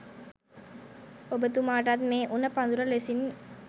ඔබතුමාටත් මේ උණ පඳුර ලෙසින්